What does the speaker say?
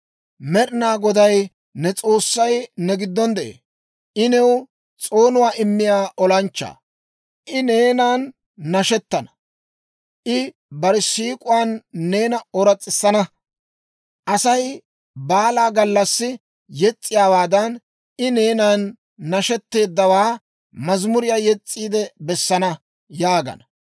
Med'inaa Goday ne S'oossay ne giddon de'ee; I new s'oonuwaa immiyaa olanchchaa. I neenan nashettana; I bare siik'uwaan neena ooras's'isana; Asay baala gallassi yes's'iyaawaadan, I neenan nashetteedawaa mazamuriyaa yes's'iide bessana» yaagana.